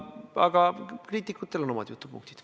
Aga kriitikutel on omad jutupunktid.